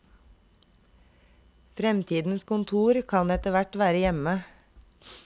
Fremtidens kontor kan etterhvert være hjemme.